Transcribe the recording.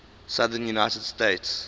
southern united states